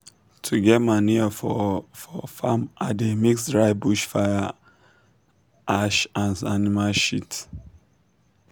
to get manure for for farm i dey mix dry bush fire ash and animal shit.